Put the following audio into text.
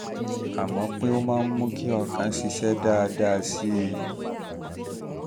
a mọ̀ pé pé ó máa ń mú kí ọkàn ṣiṣẹ́ dáadáa sí i